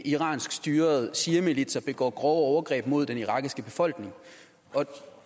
iranskstyrede shiamilitser begår grove overgreb mod den irakiske befolkning